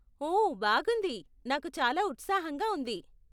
ఓ బాగుంది, నాకు చాలా ఉత్సాహంగా ఉంది.